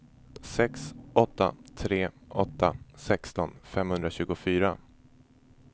sex åtta tre åtta sexton femhundratjugofyra